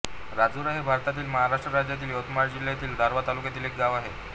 राजुरा हे भारतातील महाराष्ट्र राज्यातील यवतमाळ जिल्ह्यातील दारव्हा तालुक्यातील एक गाव आहे